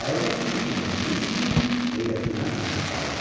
Əyilib su içmək istəyirdi ki, heyrətindən çaşıb qaldı.